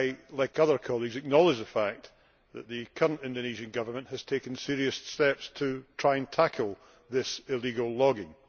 Like other colleagues, I acknowledge the fact that the current Indonesian Government has taken serious steps to try to tackle the illegal logging.